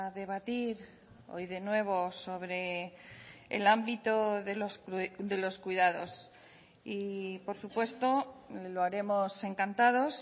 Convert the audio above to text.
debatir hoy de nuevo sobre el ámbito de los cuidados y por supuesto lo haremos encantados